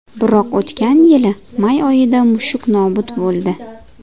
Biroq o‘tgan yilning may oyida mushuk nobud bo‘ldi.